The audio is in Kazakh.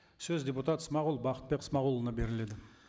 сөз депутат смағұл бақытбек смағұлұлына беріледі